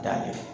Da fɛ